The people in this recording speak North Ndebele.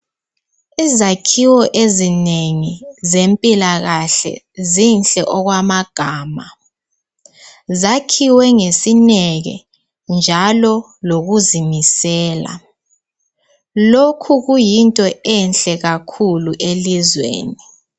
Izakhiwo ezinengi zempilakahle zinhle okwamagama . Zakhiwe ngesineke njalo lokuzimisela. Lokhu kuyinto enhle kakhulu elizweni.